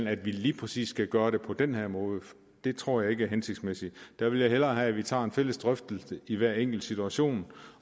at vi lige præcis skal gøre det på den her måde tror jeg ikke hensigtsmæssig jeg ville hellere have at vi tager en fælles drøftelse i hver enkelt situation